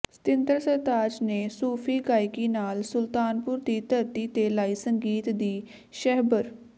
ਸਤਿੰਦਰ ਸਰਤਾਜ ਨੇ ਸੂਫੀ ਗਾਇਕੀ ਨਾਲ ਸੁਲਤਾਨਪੁਰ ਦੀ ਧਰਤੀ ਤੇ ਲਾਈ ਸੰਗੀਤ ਦੀ ਛਹਿਬਰ